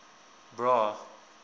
bra